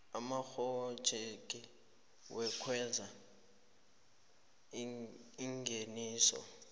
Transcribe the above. amaphrojekthi wokwenza ingeniso